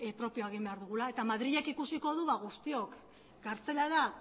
propioa egin behar dugula eta madrilek ikusiko du ba guztiok gartzelara